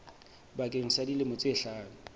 bakeng sa dilemo tse hlano